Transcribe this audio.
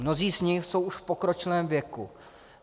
Mnozí z nich jsou už v pokročilém věku.